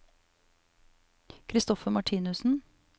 Christoffer Martinussen